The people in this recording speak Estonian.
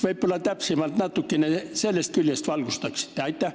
Võib-olla te valgustate seda natuke täpsemalt sellest küljest.